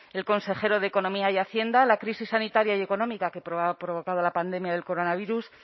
el consejero de economía y hacienda la crisis sanitaria y económica que ha provocado la pandemia del coronarias